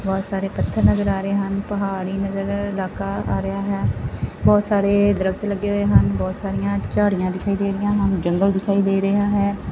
ਬਹੁਤ ਸਾਰੇ ਪੱਥਰ ਨਜਰ ਆ ਰਹੇ ਹਨ ਪਹਾੜੀ ਨਜਰ ਇਲਾਕਾ ਆ ਰਿਹਾ ਹੈ ਬਹੁਤ ਸਾਰੇ ਦਰੱਖਤ ਲੱਗੇ ਹੋਏ ਹਨ ਬਹੁਤ ਸਾਰੀਆਂ ਝਾੜੀਆਂ ਦਿਖਾਈ ਦੇ ਰਹੀਆਂ ਹਨ ਜੰਗਲ ਦਿਖਾਈ ਦੇ ਰਿਹਾ ਹੈ।